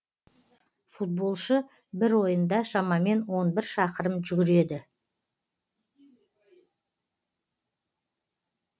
футболшы бір ойында шамамен он бір шақырым жүгіреді